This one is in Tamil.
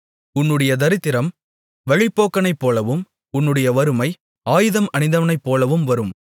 உன்னுடைய தரித்திரம் வழிப்போக்கனைப் போலவும் உன்னுடைய வறுமை ஆயுதம் அணிந்தவனைப்போலவும் வரும்